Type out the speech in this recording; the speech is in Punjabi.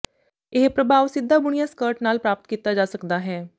ਇਹ ਪ੍ਰਭਾਵ ਸਿੱਧਾ ਬੁਣਿਆ ਸਕਰਟ ਨਾਲ ਪ੍ਰਾਪਤ ਕੀਤਾ ਜਾ ਸਕਦਾ ਹੈ